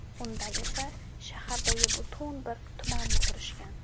Undan esa shahardagi butun bir tumanni qurishgan.